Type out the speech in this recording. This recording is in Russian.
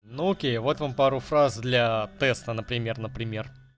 нокия вот вам пару фраз для теста например например